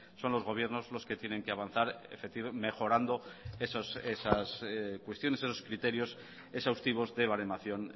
son los gobiernos los que tienen que avanzar mejorando esas cuestiones esos criterios exhaustivos de baremación